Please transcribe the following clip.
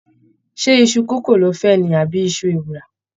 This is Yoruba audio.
Ṣé iṣu kókò lo fẹ́ ni àbí iṣu ewùrà?